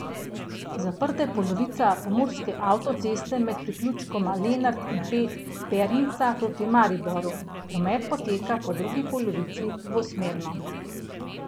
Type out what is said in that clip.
Zaprta je polovica pomurske avtoceste med priključkoma Lenart in Pernica proti Mariboru, promet poteka po drugi polovici dvosmerno.